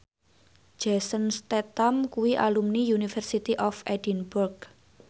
Jason Statham kuwi alumni University of Edinburgh